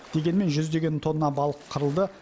дегенмен жүздеген тонна балық қырылды